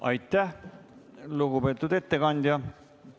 Aitäh, lugupeetud ettekandja!